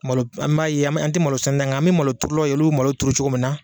Malo an b'a ye an ti malosɛnɛna ye nka an mi malo turulaw ye olu bi malo turu cogo min na.